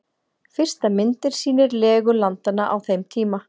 Fyrsta myndin sýnir legu landanna á þeim tíma.